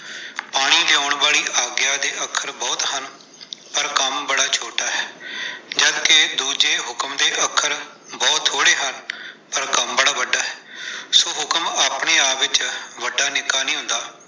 ਪਾਣੀ ਲਿਆਉਣ ਵਾਲੀ ਆਗਿਆ ਦੇ ਅੱਖਰ ਬਹੁਤ ਹਨ, ਪਰ ਕੰਮ ਬੜਾ ਛੋਟਾ ਹੈ, ਜਦ ਕਿ ਦੂਜੇ ਹੁਕਮ ਦੇ ਅੱਖਰ ਬਹੁਤ ਥੋੜ੍ਹੇ ਹਨ, ਪਰ ਕੰਮ ਬੜਾ ਵੱਡਾ ਹੈ, ਸੋ ਹੁਕਮ ਆਪਣੇ ਆਪ ਵਿੱਚ ਵੱਡਾ ਨਿੱਕਾ ਨਹੀਂ ਹੁੰਦਾ।